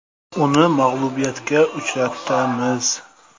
Uni mag‘lubiyatga uchratamiz.